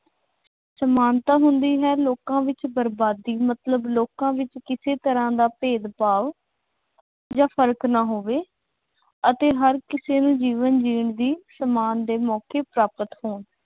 ਸਮਾਨਤਾ ਹੁੰਦੀ ਹੈ ਲੋਕਾਂ ਵਿੱਚ ਬਰਬਾਦੀ ਮਤਲਬ ਲੋਕਾਂ ਵਿੱਚ ਕਿਸੇ ਤਰ੍ਹਾਂ ਦਾ ਭੇਦਭਾਵ ਜਾਂ ਫਰਕ ਨਾ ਹੋਵੇ ਅਤੇ ਹਰ ਕਿਸੇ ਨੂੰ ਜੀਵਨ ਜੀਣ ਦੀ ਸਮਾਨ ਦੇ ਮੌਕੇ ਪ੍ਰਾਪਤ ਹੋਣ।